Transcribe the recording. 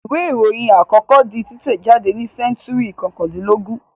Ìwé-ìròyìn àkọ́kọ́ di títẹ̀jádé ní sẹ́ńtúrì kọkàndínlógún.